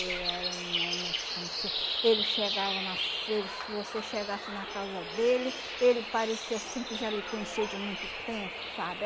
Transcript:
Ele era um homem assim que... Ele chegava nas ele... Se você chegasse na casa dele, ele parecia assim que já lhe conhecia de muito tempo, sabe?